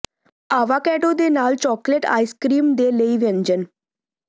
avocado ਦੇ ਨਾਲ chocolate ice cream ਦੇ ਲਈ ਵਿਅੰਜਨ